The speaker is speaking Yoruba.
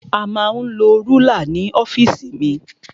A ma ń lo rúlà ní ọ́fìsì mi.